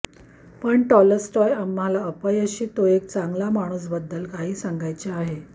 पण टॉल्स्टॉय आम्हाला अपयशी तो एक चांगला माणूस बद्दल काही सांगायचे आहे